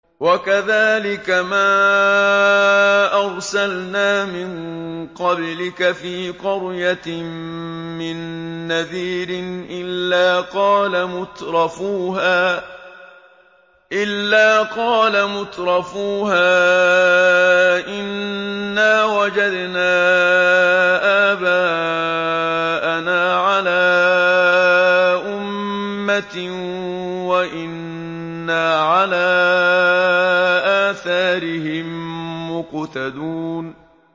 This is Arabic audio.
وَكَذَٰلِكَ مَا أَرْسَلْنَا مِن قَبْلِكَ فِي قَرْيَةٍ مِّن نَّذِيرٍ إِلَّا قَالَ مُتْرَفُوهَا إِنَّا وَجَدْنَا آبَاءَنَا عَلَىٰ أُمَّةٍ وَإِنَّا عَلَىٰ آثَارِهِم مُّقْتَدُونَ